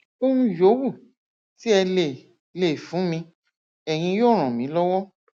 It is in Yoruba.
ohun yòówù tí ẹ lè lè fún mi ẹyin yóò ràn mí lọwọ